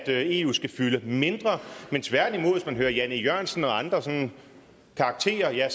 eu skal fylde mindre tværtimod hvis man hører herre jan e jørgensen og andre sådanne karakterer